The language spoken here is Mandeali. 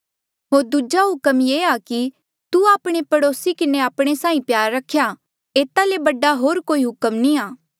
होर दूजा हुक्म ये आ कि तू आपणे पड़ोसी किन्हें आपणे साहीं प्यार रख्या एता ले बडा होर कोई हुक्म नी आ